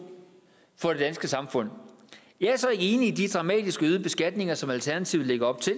for det danske samfund jeg er så ikke enig i de dramatisk øgede beskatninger som alternativet lægger op til